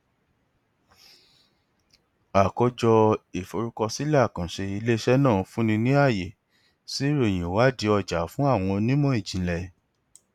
àkójọ ìforúkọsílẹ àkànṣe iléiṣẹ náà fúnni ní àyè sí ìròyìn ìwádìí ọjà fún àwọn onímọ ìjìnlẹ